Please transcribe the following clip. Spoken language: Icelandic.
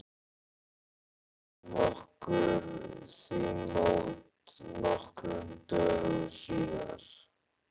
Við mæltum okkur því mót nokkrum dögum síðar.